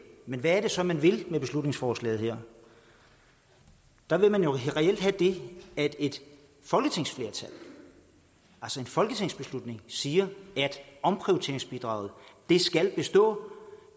men hvad er det så man vil med beslutningsforslaget der vil man jo reelt det at et folketingsflertal altså en folketingsbeslutning siger at omprioriteringsbidraget skal bestå